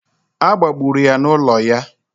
A gbagburu ya n'ụlọ ya